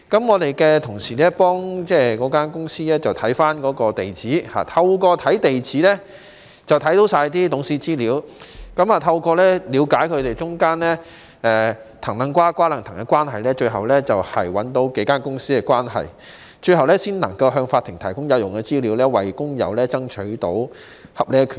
我們的同事透過查閱該公司的地址，看到全部董事的資料，了解他們當中"藤掕瓜、瓜掕藤"的關係，最終找出數間公司的關係，最後才能夠向法庭提供有用的資料，為工友爭取到合理權益。